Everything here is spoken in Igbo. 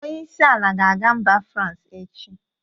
Onyeisi ala ga-aga mba Fransi echi.